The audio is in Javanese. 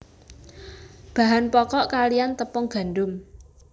Bahan pokok kaliyan tepung gandum